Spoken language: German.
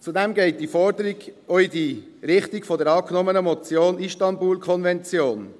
Zudem geht die Forderung auch in die Richtung der angenommenen Motion Istanbul-Konvention